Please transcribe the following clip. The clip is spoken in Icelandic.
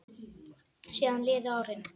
Síðan liðu árin.